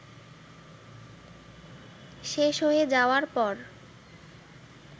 শেষ হয়ে যাওয়ার পর